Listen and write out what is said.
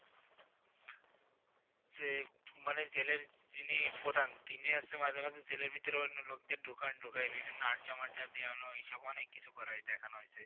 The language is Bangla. সে মানে জেলের যিনি প্রধান, তিনি আসে মাঝে মাঝে জেলের ভিতরে ওইন্য লোকদের ঢোকান, ঢোকায়ে বিভিন্ন আড্ডা মাড্ডা দেওয়ানো এইসব অনেক কিসু করায় দেখানো হয়েসে।